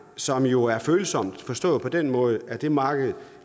som jo er følsomt forstået på den måde at det marked